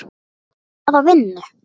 Hvaða vinnu?